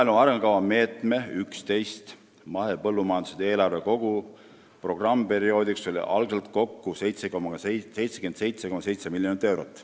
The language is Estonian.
" Maaelu arengukava meetme 11 ehk mahepõllumajanduse eelarve kogu programmperioodiks oli esialgu 77,7 miljonit eurot.